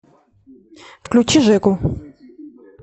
включи жеку